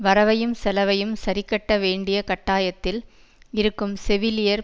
வரவையும் செலவையும் சரிக்கட்ட வேண்டிய கட்டாயத்தில் இருக்கும் செவிலியர்